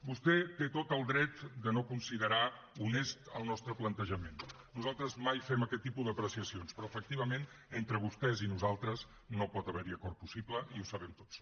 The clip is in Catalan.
vostè té tot el dret de no considerar honest el nostre plantejament nosaltres mai fem aquest tipus d’apreciacions però efectivament entre vostès i nosaltres no pot haver hi acord possible i ho sabem tots